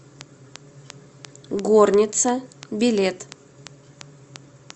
горница билет